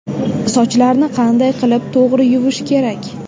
Sochlarni qanday qilib to‘g‘ri yuvish kerak?